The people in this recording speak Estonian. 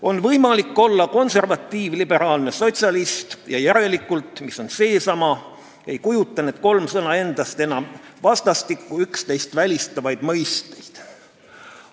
on võimalik olla konservatiiv-liberaalne sotsialist ja järelikult – mis on seesama – ei kujuta need kolm sõna endast enam vastastikku üksteist välistavaid mõisteid.